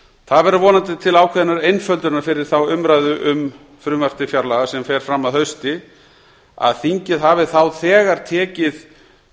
það verður vonandi til ákveðinnar einföldunar fyrir þá umræðu um frumvarp til fjárlaga sem fer fram að hausti að þingið hafi þá þegar tekið